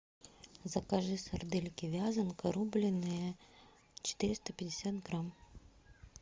закажи сардельки вязанка рубленные четыреста пятьдесят грамм